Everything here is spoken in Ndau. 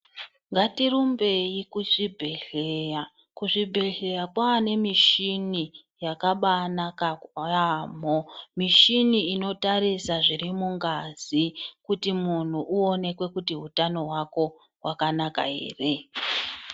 Ngati rumbei ku zvibhedhleya ku zvibhedhlera kwane michini yakabai naka yamho mishini inotarisa zviri mu ngazi kuti munhu uone kuti utano hwako hwakanaka ere.